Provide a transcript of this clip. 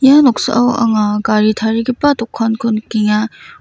ia noksao anga gari tarigipa dokanko nikenga.